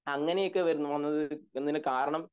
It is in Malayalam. അങ്ങനെയൊക്കെ വരും തോന്നണത് ർണ്ണസത്തിനു കാരണം